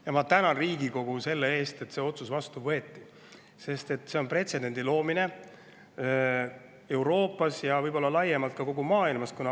Ja ma tänan Riigikogu selle eest, et see otsus vastu võeti, sest see lõi pretsedendi Euroopas ja võib-olla laiemalt kogu maailmas.